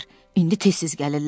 İndi tez-tez gəlirlər.